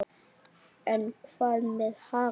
En hvað með Haga?